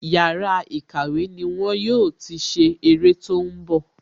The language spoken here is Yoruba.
Yàrá ìkàwé ni wọn yóò ti ṣe ère tó ń bọ̀